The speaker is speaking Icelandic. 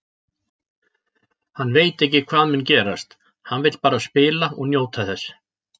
Hann veit ekki hvað mun gerast, hann vill bara spila og njóta þess.